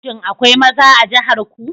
Shin akwai maza a jihar ku?